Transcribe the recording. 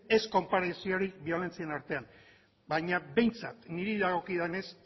ez konparaziorik biolentzien artean baina behintzat niri dagokidanez